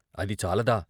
అది చాలదా?